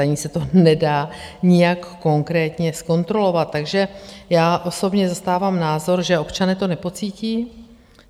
Ani se to nedá nijak konkrétně zkontrolovat, takže já osobně zastávám názor, že občané to nepocítí.